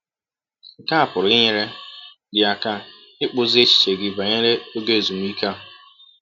Nke a pụrụ inyere gị aka ịkpụzi echiche gị banyere ọge ezụmịke a.